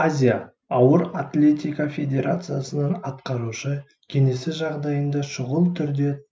азия ауыр атлетика федерациясының атқарушы кеңесі жағдайынды шұғыл түрде